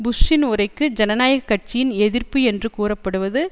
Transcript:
புஷ்சின் உரைக்கு ஜனநாயக கட்சியின் எதிர்ப்பு என்று கூறப்படுவது